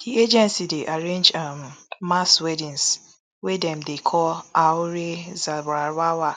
di agency dey arrange um mass weddings wey dem dey call auren zawarawa